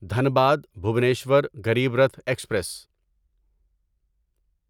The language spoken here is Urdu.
دھنباد بھوبنیشور غریب رتھ ایکسپریس